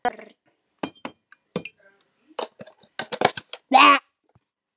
Í vörn.